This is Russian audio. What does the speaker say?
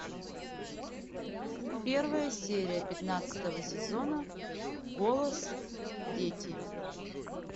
первая серия пятнадцатого сезона голос дети